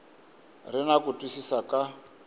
ri na ku twisisa ka